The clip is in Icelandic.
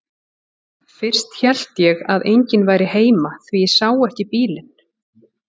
Fyrst hélt ég að enginn væri heima því ég sá ekki bílinn.